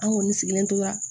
An kɔni sigilen tora